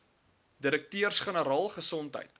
direkteurs generaal gesondheid